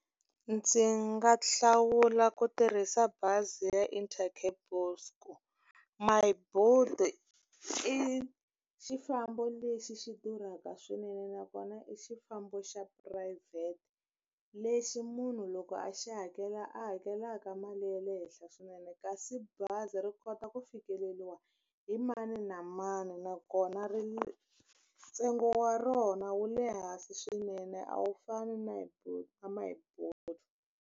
Ndzi nga hlawula ku tirhisa bazi ya Intercape Myboet i xifambo lexi xi durhaka swinene nakona i xifambo xa phurayivhete lexi munhu loko a xi hakela a hakelaka mali ya le henhla swinene kasi bazi ri kota ku fikeleriwa hi mani na mani nakona ntsengo wa rona wu le hansi swinene a wu fani na na .